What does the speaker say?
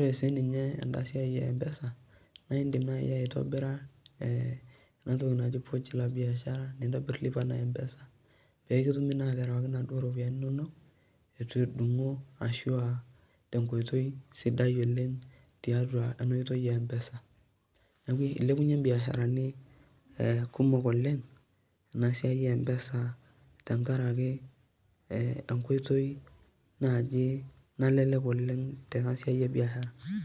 kisidai tenipik empesa, naa idim naaji aitobira enatoki naji pochi la biashara pee kitumi naa aitobiraki inaduoo ropiyiani inonok etu edungi enkiti toki, ashu tenkoitoi sidai oleng, ipik iropiyiani kumok leng empesa tenkaraki naaji kisidai oleng.